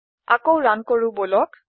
আকৌ ৰান কৰো বলক